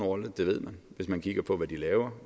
rolle det ved man hvis man kigger på hvad de laver